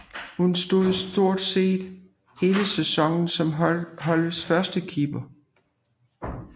Hun stod stort set hele sæsonen som holdets førstekeeper